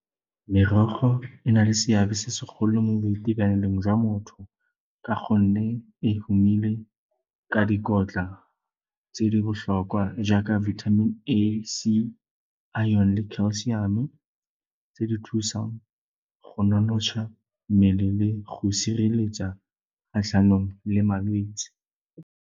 Merogo e na le seabe se segolo mo boitekanelong jwa motho ka gonne e humile ka dikotla tse di botlhokwa jaaka vitamin A, C, iron-e le calcium-o tse di thusang go nonotsha mmele le go sireletsa kgatlhanong le malwetse.